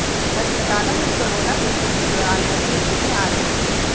अस्पतालों में कोरोना संकट के दौरान मरीज नहीं आ रहे थे